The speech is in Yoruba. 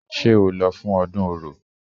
Ṣé o lọ fún ọdún Orò?